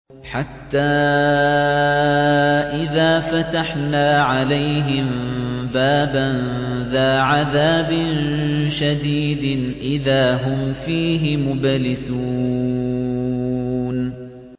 حَتَّىٰ إِذَا فَتَحْنَا عَلَيْهِم بَابًا ذَا عَذَابٍ شَدِيدٍ إِذَا هُمْ فِيهِ مُبْلِسُونَ